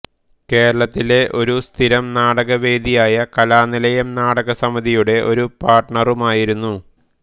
കേരളത്തിലെ ഒരു സ്ഥിരം നാടകവേദിയായ കലാനിലയം നാടകസമിതിയുടെ ഒരു പാർട്ണറുമായിരുന്നു